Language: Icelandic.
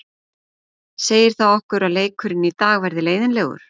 Segir það okkur að leikurinn í dag verði leiðinlegur?